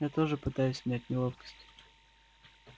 я тоже пытаюсь снять неловкость